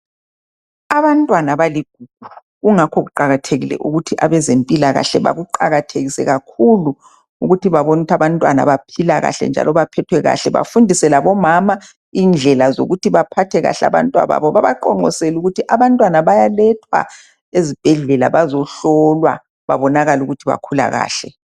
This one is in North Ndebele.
Abantwana baligugu kungakho kuqakathekile ukuthi abezempilakahle bakuqakathekise kakhulu ukuthi babone ukuthi abantwana baphila kahle njalo baphethwe kahle. Bafundise labomama indlela yokuthi bephathe kahle abantwababo. Babaqonqosele ukuthi abantwana bayalethwa ezibhedlela bazohlolwa babonakale ukuthi bakhula kahle.